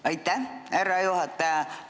Aitäh, härra juhataja!